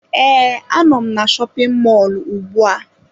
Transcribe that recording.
Ee, Anọ m na shopin mọlụ ugbu a.